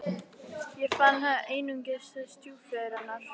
Þar fann ég einungis stjúpföður hennar.